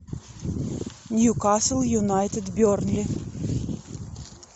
ньюкасл юнайтед бернли